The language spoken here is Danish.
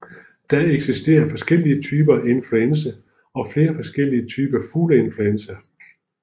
Der eksisterer forskellige typer af influenza og flere forskellige typer fugleinfluenza